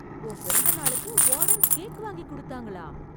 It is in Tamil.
உன் பிறந்த நாளுக்கு வார்டன் கேக் வாங்கி குடுத்தாங்களா...